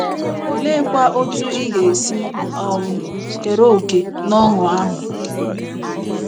Oleekwa otú ị ga-esi um kere òkè n'ọṅụ ahụ??